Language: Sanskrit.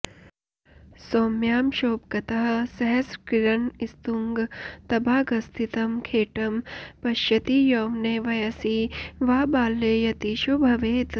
सौम्यांशोपगतः सहस्रकिरणस्तुङ्गातभागस्थितं खेटं पश्यति यौवने वयसि वा बाल्ये यतीशो भवेत्